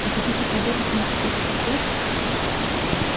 вы хотите проведать мне какой-то секрет